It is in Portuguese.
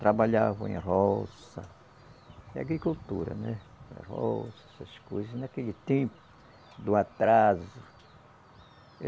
Trabalhavam em roça, agricultura, né, roça, essas coisas naquele tempo do atraso.